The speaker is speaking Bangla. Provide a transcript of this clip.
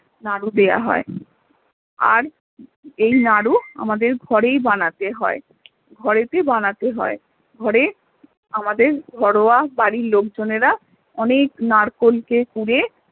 নাড়ু দেয়া হয় আর এই নাড়ু আমাদের ঘরেই বানাতে হয়ে ঘরে তে বানাতে হয়ে ঘরে আমাদের ঘরোয়া বাড়ির লোকজনেরা অনেক নারকোল কে কুড়ে